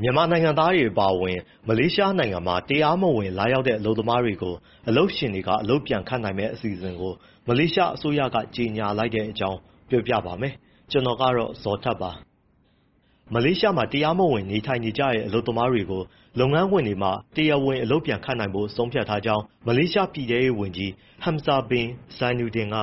မြန်မာနိုင်ငံသားတွေ အပါအဝင် မလေးရှားနိုင်ငံမှာ တရားမဝင်ရောက်လာတဲ့ အလုပ်သမားတွေကို အလုပ်ရှင်တွေက အလုပ်ပြန်ခန့်နိုင်မယ့် အစီအစဉ်ကို မလေးရှားအစိုးရက ကြေညာလိုက်တဲ့အကြောင်းကို ဗွီအိုအေမြန်မာပိုင်း သတင်းထောက် ကိုဇော်ထက်က ပြောပြပါမယ်။ မလေးရှားမှာ တရားမဝင် နေထိုင်နေတဲ့ အလုပ်သမားတွေကို လုပ်ငန်းခွင်တွေမှာ တရားဝင်အလုပ်ပြန်ခန့်နိုင်ဖို့ ဆုံးဖြတ်ထားကြောင်း မလေးရှား ပြည်ထဲရေးဝန်ကြီး Hamzah bin Zainudin က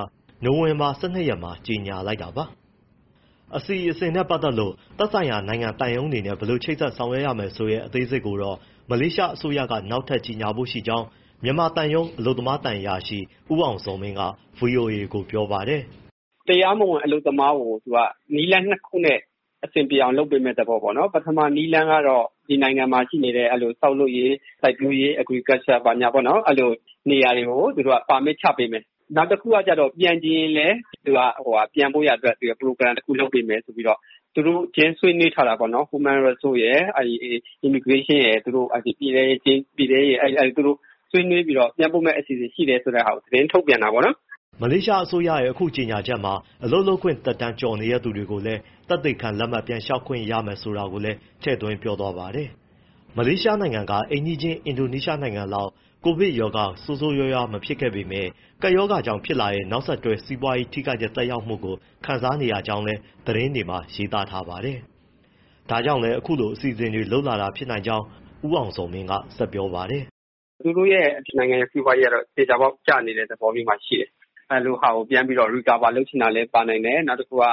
နိုဝင်ဘာ ၁၂ ရက်မှာ ကြေညာလိုက်တာပါ။ အစီအစဉ်နဲ့ ပတ်သက်လို့ သက်ဆိုင်ရာ နိုင်ငံသံရုံးတွေနဲ့ ဘယ်လိုချိတ်ဆက် ဆောက်ရွက်ရမယ်ဆိုတဲ့ အသေးစိတ်ကိုတော့ မလေးရှားအစိုးရက နောက်ထပ် ကြေညာဖို့ရှိကြောင်း မြန်မာသံရုံး အလုပ်သမားသံအရာရှိ ဦးအောင်ဇော်မင်းက ဗွီအိုအေကို ပြောပါတယ်။ “တရားမဝင် အလုပ်သမားကို သူက နည်းလမ်း ၂ ခုနဲ့ အဆင်ပြေအောင် လုပ်ပေးမယ့် သဘောပေါ့နော်။ ပထမနည်းလမ်းကတော့ ဒီနိုင်ငံမှာ ရှိနေတဲ့ ဆောက်လုပ်ရေး၊ စိုက်ပျိုးရေး agriculture ပေါ့နော်... အဲဒီလိုနေရာတွေကို သူတို့က permit ချပေးမယ်၊ နောက်တခုက ပြန်ချင်ရင်လည်း ပြန်ဖို့ရန်အတွက် programme တခု လုပ်ပေးမယ်ဆိုပြီး သူတို့ချင်း ဆွေးနွေးထားတာပေါ့နော်။ human resource ရယ်၊ immigration ရယ်၊ ပြည်ထဲရေးရယ် သူတို့ ဆွေးနွှေးပြီးတော့ ပြန်ပို့မယ့်အစီအစဉ် ရှိတယ်ဆိုတာကို သတင်းထုတ်ပြန် တာပေါ့နော်။” မလေးရှားအစိုးရရဲ့ အခုကြေညာချက်မှာ အလုပ်လုပ်ခွင့်သက်တမ်း ကျော်နေတဲ့သူတွေကိုလည်း သက်သေခံလက်မှတ် ပြန်လျှောက်ခွင့်ရမယ် ဆိုတာလည်း ထည့်သွင်းပြောသွားပါတယ်။ မလေးရှားနိုင်ငံက အိမ်နီးချင်း အင်ဒိုနီးရှားနိုင်ငံလောက် ကိုဗစ်ရောဂါ ဆိုးဆိုးရွားရွား မဖြစ်ပေမဲ့ ကပ်ရောကြောင့် ဖြစ်လာတဲ့ နောက်ဆက်တွဲ စီးပွားရေးထိခိုက်တဲ့ သက်ရောက်မှုကို ခံစားနေရကြောင်း သတင်းတွေမှာ ရေးသားကြပါတယ်။ ဒါကြောင့်လည်း အခုလို အစီအစဉ်တွေ လုပ်လာတာဖြစ်နိုင်ကြောင်း ဦးအောင်ဇော်မင်းက ဆက်ပြောပါတယ်။ “သူတို့နိုင်ငံရဲ့ စီးပွားရေးက သေချာပေါက် ကျနေတဲ့ သဘောမျိုးမှာ ရှိတယ်။ အဲဒီလိုမျိုးဟာကို သေချာပေါက် recover လုပ်ချင်တာလည်း ပါနိုင်တယ်။ နောက်တခုက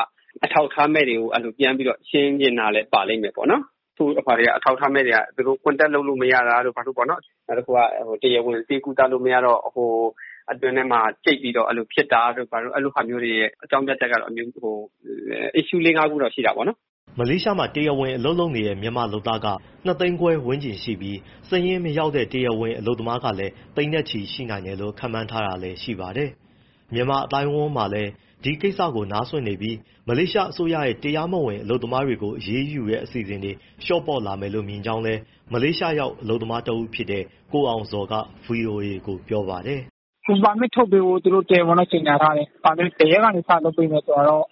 အထောက်အထားမဲ့တွေကို ပြန်ပြီးတော့ ရှင်းချင်တာလည်း ပါလိမ့်မယ်ပေါ့နော်။ တချို့ အထောက်အထားမဲ့တွေက သူတို့ contact လုပ်လို့မရတာတို့ ဘာတို့၊ နောက်တခုက တရားဝင် ဆေးကုသခွင့်မရတော့ အတွင်းထဲမှာ ကျိတ်ပြီး ဖြစ်တာတို့ဘာတို့ အဲဒီလိုမျိုးဟာရဲ့ အကြောင်းပြချက်ကတော့ issue လေး၊ ငါးမျိုးလောက် ရှိတာပေါ့နော်။” မလေးရှားမှာ တရားဝင်အလုပ်လုပ်နေတဲ့ မြန်မာလုပ်သားက ၂၅၀,၀၀၀ ဝန်းကျင်ရှိပြီး စာရင်းမရောက်တဲ့ တရားမဝင် အလုပ်သမားလည်း သိန်းချီ ရှိနိုင်တယ်လို့ ခန့်မှန်းထားတာလည်း ရှိပါတယ်။ မြန်မာအသိုင်းအဝန်းမှာလည်း ဒီကိစ္စကို နားစွင့်နေပြီး မလေးရှားအစိုးရက တရားမဝင် အလုပ်သမားတွေကို အရေးယူတဲ့ အစီအစဉ်တွေ လျှော့ပေါ့လာမယ်လို့ မြင်ကြောင်း မလေးရှားရောက် အလုပ်သမားတဦးဖြစ်တဲ့ ကိုအောင်ဇော်က ဗွီအိုအေကို ပြောပါတယ်။ “ပါမစ်ထုတ်ပေးဖို့တော့ တရားဝင်တော့ သူတို့ကြေညာထားတယ်။ ဘယ်ရက်ကနေ စလုပ်ပေးမယ် ဆိုတာကတော့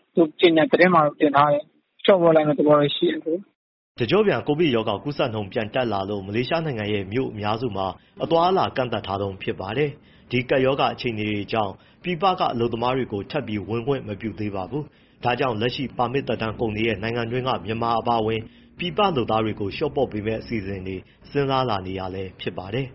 ကြေညာချက်ထဲမှာတော့ တင်ထားတယ်။ လျှော့ပေါ့လိုက်မယ့်သဘောတော့ ရှိပါတယ်။” တကျော့ပြန် ကိုဗစ်ရောဂါကူးစက်နှုန်း ပြန်တက်လာလို့ မလေးရှားနိုင်ငံရဲ့ မြို့အများမှာ အသွားအလာ ကန့်သတ်ထားတုန်း ဖြစ်ပါတယ်။ ဒီကပ်ရောဂါအခြေအနေတွေကြောင့် ပြည်ပက အလုပ်သမားတွေကို ထပ်ပြီးဝင်ခွင့် မပြုသေးပါဘူး။ ဒါကြောင့် လတ်ရှိပါမစ်သက်တမ်း ကုန်နေတဲ့ နိုင်ငံတွင်းက မြန်မာအပါအဝင် ပြည်ပလုပ်သားတွေကို လျှော့ပေါ့ပေးမယ့် အစီအစဉ်တွေ စဉ်းစားလာနေတာလည်း ဖြစ်ပါတယ်။